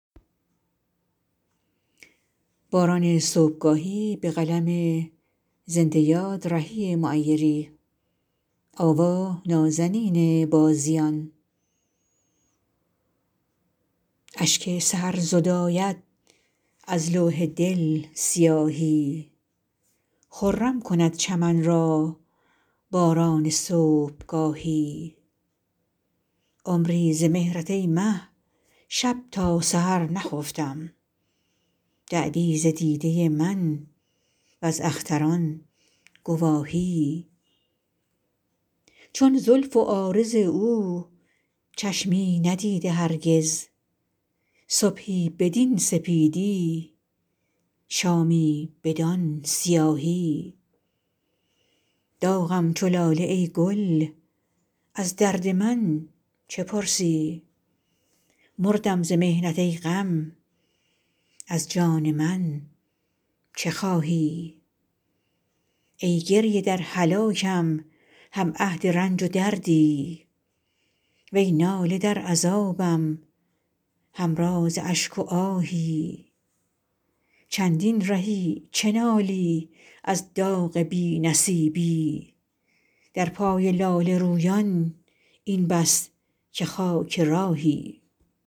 اشک سحر زداید از لوح دل سیاهی خرم کند چمن را باران صبحگاهی عمری ز مهرت ای مه شب تا سحر نخفتم دعوی ز دیده من و ز اختران گواهی چون زلف و عارض او چشمی ندیده هرگز صبحی بدین سپیدی شامی بدان سیاهی داغم چو لاله ای گل از درد من چه پرسی مردم ز محنت ای غم از جان من چه خواهی ای گریه در هلاکم هم عهد رنج و دردی وی ناله در عذابم هم راز اشک و آهی چندین رهی چه نالی از داغ بی نصیبی در پای لاله رویان این بس که خاک راهی